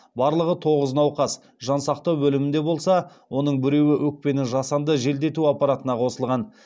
барлығы тоғыз науқас жансақтау бөлімінде болса оның біреуі өкпені жасанды желдету аппаратына қосылған